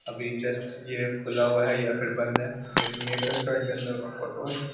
अभी जस्ट ये खुला हुआ है या फिर बंद है लेकिन ये --